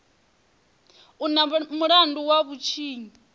u na mulandu wa vhutshinyi